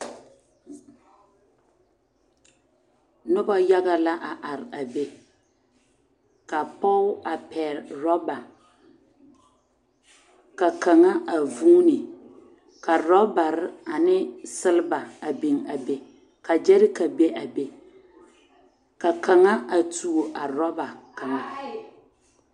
Noba yaga la a are a be ka pɔge a pɛgle rɔba ka kaŋa a vuuni ka rɔbare ane selba a biŋ a be ka gyɛreka be a be ka kaŋa a tuo a rɔba kaŋa.